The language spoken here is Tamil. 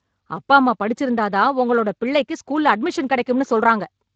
அப்பா அம்மா படிச்சிருந்தா தான் உங்களோட பிள்ளைக்கு ஸ்கூல்ல அட்மிஷன் கிடைக்கும்னு சொல்றாங்க